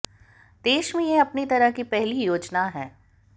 देश में यह अपनी तरह की पहली योजना है